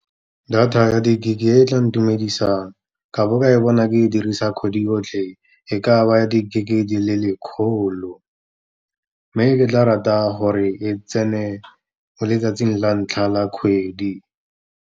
Data ya di-gig-e e tla ntumedisang, ka bo ka e bona ke e dirisa kgwedi yotlhe e ka ba ya di-gig-e di le lekgolo. Mme ke tla rata gore e tsene mo letsatsing la ntlha la kgwedi.